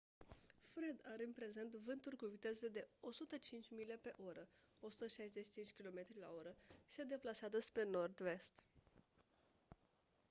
fred are în prezent vânturi cu viteze de 105 mile pe oră 165 km/h și se deplasează spre nord-vest